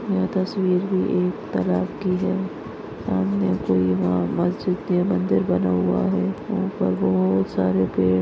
यह तस्वीर भी एक तलाब की है। सामने कोई वहाँ मस्जिद या मंदिर बना हुआ है। ऊपर बहुत सारे पेड़--